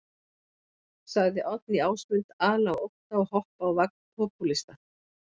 Sagði Oddný Ásmund ala á ótta og hoppa á vagn popúlista.